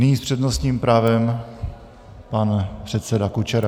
Nyní s přednostním právem pan předseda Kučera.